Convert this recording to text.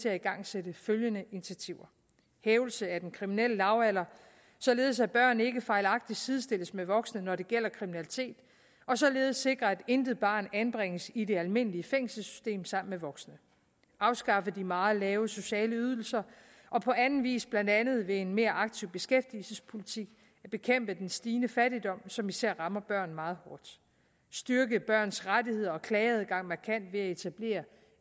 at igangsætte følgende initiativer hævelse af den kriminelle lavalder således at børn ikke fejlagtigt sidestilles med voksne når det gælder kriminalitet og således sikre at intet barn anbringes i det almindelige fængselssystem sammen med voksne afskaffe de meget lave sociale ydelser og på anden vis blandt andet ved en mere aktiv beskæftigelsespolitik bekæmpe den stigende fattigdom som især rammer børn meget hårdt styrke børns rettigheder og klageadgang markant ved at etablere